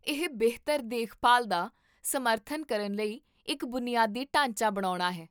ਇਹ ਬਿਹਤਰ ਦੇਖਭਾਲ ਦਾ ਸਮਰਥਨ ਕਰਨ ਲਈ ਇੱਕ ਬੁਨਿਆਦੀ ਢਾਂਚਾ ਬਣਾਉਣਾ ਹੈ